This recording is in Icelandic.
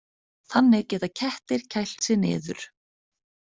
Þannig geta kettir kælt sig niður.